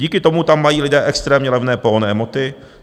Díky tomu tam mají lidé extrémně levné pohonné hmoty.